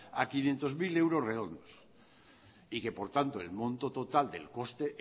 a quinientos mil euros redondos y que por tanto el monto total del coste